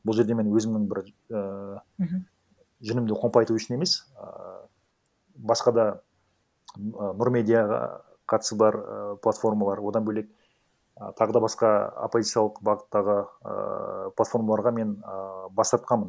бұл жерде мен өзімнің бір ііі мхм жүнімді қомпайту үшін емес ыыы басқа да і нұр медиаға қатысы бар платформалар одан бөлек і тағы да басқа оппозициялық бағыттағы ыыы платформаларға мен ыыы бас тартқанмын